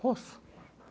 Poço.